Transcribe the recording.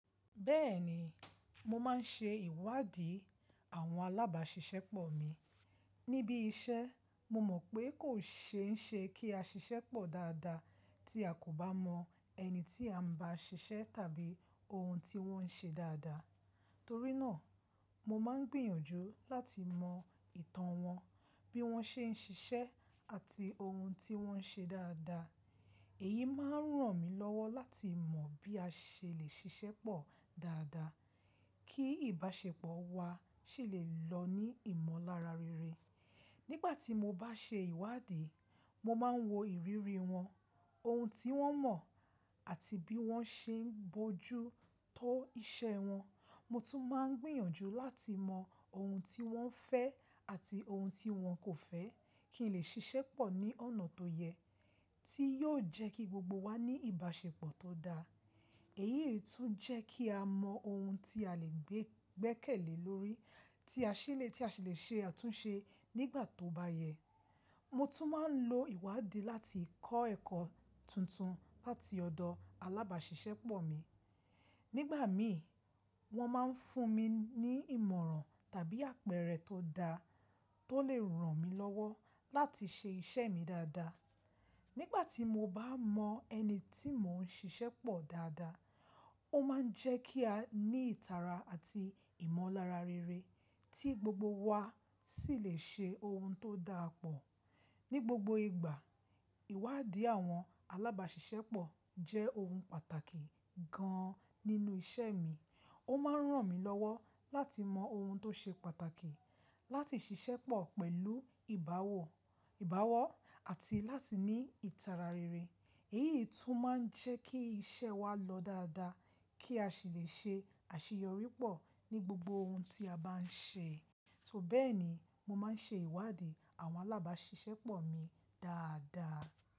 Bẹ́ẹ̀ni, mo má n ṣe ìwádìí àwọn alábàṣiṣẹ́pọ̀ mi. Níbi iṣẹ́ mo mọ̀ pé kò ṣe é ṣe kí a ṣiṣẹ́pọ̀ dáadáa tí a kò bá mọ ẹni tí a ń bá ṣiṣẹ́ tàbí ohun tí wọ́n n ṣe dáadáa. Torí náà mo má n gbìyànjú láti mọ ìtàn wọn, bí wọ́n ṣe ń ṣiṣẹ́ àti ohun tí wọ́n n ṣe dáadáa. Èyí má n ràn mí lọ́wọ́ láti mọ̀ bí a ṣe lè ṣiṣẹ́pọ̀ dáadáa kí ìbáṣepọ̀ wa sì lè lọ ní ìmọ̀lára rere. Nígbà tí mo bá ṣe ìwádìí, mo má n wo ìrírí wọn, ohun tí wọ́n mọ̀ àti bí wọ́n ṣe ń bojútó iṣẹ́ wọn. Mo tún má n gbìyànjú láti mọ ohun tí wọ́n fẹ́ àti ohun tí wọn kò fẹ́ kí n lè ṣiṣẹ́pọ̀ ní ọ̀nà tó yẹ tí yóò jẹ́ kí gbogbo wa ní ìbáṣepọ̀ tó dáa. Èyí è tún jẹ́ kí a mọ ohun tí a lè gbé gbẹ́kẹ̀lé lórí tí a sì lè ṣe àtúnṣe nígbà tó bá yẹ. Mo tún má n lo ìwádìí láti kọ́ ẹ̀kọ́ tuntun láti ọ̀dọ̀ alábàṣiṣẹ́pọ̀ mi. Nígbà míì wọ́n má n fún mi ní ìmọ̀ràn tàbí àpẹẹrẹ tó dá tó lè ràn mí lọ́wọ́ láti ṣe iṣẹ́ mi dáadáa. Nígbà tí mo bá mọ ẹni tí mò n ṣiṣẹ́pọ̀ dáadáa, ó má ń jẹ́ kí a ní ìtara àti ìmọ̀lára rere tí gbogbo wa sì lè ṣe ohun tó dáa pọ̀. Ni gbogbo ìgbà ìwádìí àwọn alábàṣiṣẹ́pọ̀ jẹ́ ohun pàtàkì gan nínú iṣẹ́ mi. Ó má ń ràn mí lọ́wọ́ láti mọ ohun tó ṣe pàtàkì, láti ṣiṣẹ́pọ̀ pẹ̀lú ìbáwọ̀ àti láti ní ìtara rere. Èyí tún má ń jẹ́ kí iṣẹ́ wa lọ dáadáa kí a sì lè ṣe àṣeyọrí pọ̀ ní gbogbo ohun tí a bá n ṣe. So bẹ́ẹ̀ni mo má n ṣe ìwádìí àwọn alábàṣiṣẹ́pọ̀ mi dáadáa.